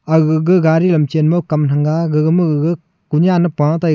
agugu gari lam Chen ma kam thang nga gaga mo gaga kunen a Paa taiga.